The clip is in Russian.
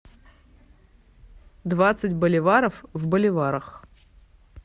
двадцать боливаров в боливарах